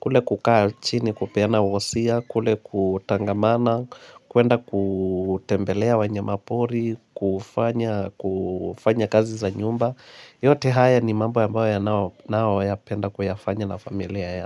kule kukaa chini kupeana wosia, kule kutangamana, kuenda kutembelea wanyamapori, kufanya kazi za nyumba yote haya ni mambo ambayo naoyapenda kuyafanya na familia yangu.